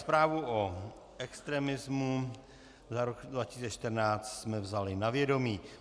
Zprávu o extremismu za rok 2014 jsme vzali na vědomí.